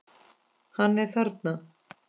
Hann er þarna.